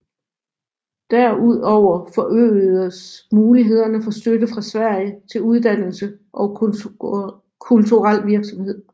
Derudover forøgedes mulighederne for støtte fra Sverige til uddannelse og kulturel virksomhed